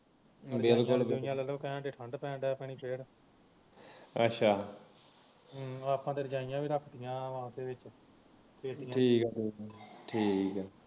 ਤੁਹਾਡੇ ਤੇ ਇੱਥੇ ਰਜਾਈਆ ਕਹਿੰਦੇ ਲੈ ਲੋ ਠੰਡ ਪੈ ਲੱਗ ਪੈਣੀ ਫਿਰ ਆਪਾ ਤਾ ਰਜਾਈਆ ਵੀ ਰੱਖਤੀਆਂ